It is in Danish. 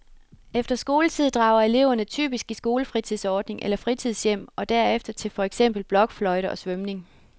Efter skoletid drager elverne typisk i skolefritidsordning eller fritidshjem og derefter til for eksempel blokfløjte og svømning.